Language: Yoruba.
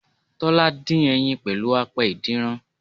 Tọ́lá dín ẹyin pẹ̀lú apẹ ìdínran